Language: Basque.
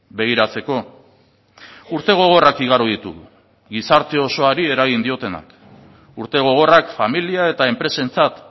begiratzeko urte gogorrak igaro ditugu gizarte osoari eragin diotenak urte gogorrak familia eta enpresentzat